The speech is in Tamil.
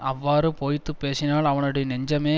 அவ்வாறு பொய்த்து பேசினால் அவனுடைய நெஞ்சமே